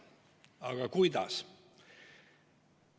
Aga kuidas?